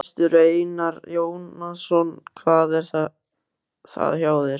Gestur Einar Jónasson: Hvað er það hjá þér?